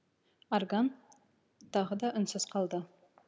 орган тағы да үнсіз қалды